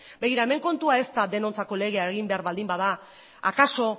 begira hemen kontua ez da denontzako legea egin behar baldin bada akaso